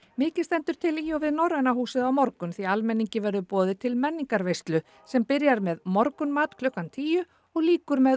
mikið stendur til í og við Norræna húsið á morgun því almenningi verður boðið til sem byrjar með morgunmat klukkan tíu og lýkur með